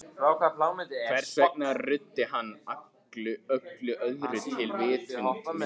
Hvers vegna ruddi hann öllu öðru til í vitund minni?